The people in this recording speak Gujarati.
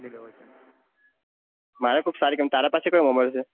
મારે કોક સારી તારે પાસે કયો mobile છે